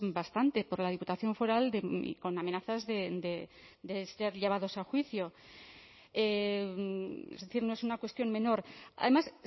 bastante por la diputación foral y con amenazas de ser llevados a juicio es decir no es una cuestión menor además